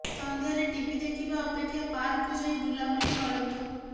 ସନ୍ଧ୍ୟାରେ ଟିଭି ଦେଖିବା ଅପେକ୍ଷା ପାର୍କକୁ ଯାଇ ବୁଲାବୁଲି କରନ୍ତୁ